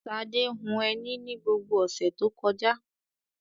Ṣadé hun ẹní ni gbogbo ọ̀sẹ̀ tó kọjá.